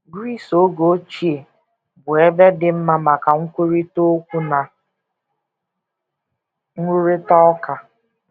Gris oge ochie bụ ebe dị mma maka nkwurịta okwu na nrụrịta ụka.